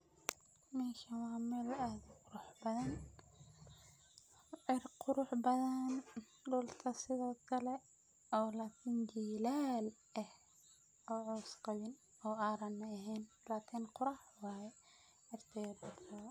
Meshan wa mel ad u qurux badan, cir qurux badan , dulka sidhokale oo lakin jilal eh oo caws qawin oo aran ehen, lakin qurux waye cirka iyo dulkaba.